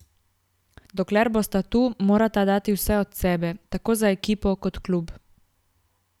Dokler bosta tu, morata dati vse od sebe, tako za ekipo kot klub.